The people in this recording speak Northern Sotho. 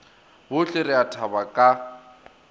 bohle re a thaba ka